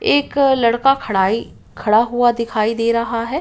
एक लड़का खड़ा ही खड़ा हुआ दिखाई दे रहा है।